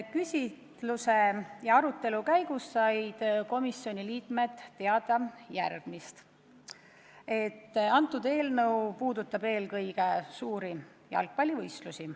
Küsitluse ja arutelu käigus said komisjoni liikmed teada, et eelnõu puudutab eelkõige suuri jalgpallivõistlusi.